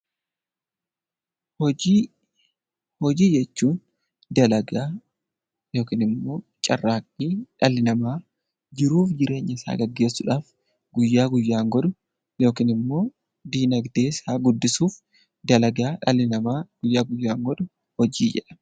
Hojii jechuun dalagaa yookiin immoo carraaqqii dhalli namaa jiruuf jireenya isaa gaggeessuudhaaf guyyaa guyyaan godhu yookiin immoo dinagdee isaa guddisuuf dalagaa dhalli namaa guyyaa guyyaan godhu hojii jedhama.